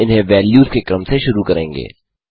हम इन्हें वेल्यूज़ के क्रम से शुरू करेंगे